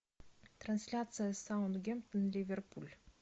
трансляция саутгемптон ливерпуль